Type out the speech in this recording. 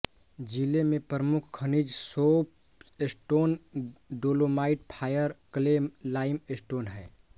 जिले में प्रमुख खनिज soapstone dolomite fire clay limestone हैं